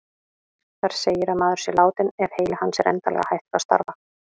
Þar segir að maður sé látinn ef heili hans er endanlega hættur að starfa.